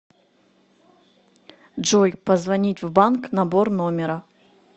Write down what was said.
джой позвонить в банк набор номера